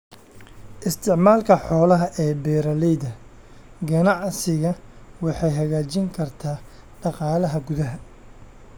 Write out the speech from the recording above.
Isticmaalka xoolaha ee beeralayda ganacsiga waxay hagaajin kartaa dhaqaalaha gudaha.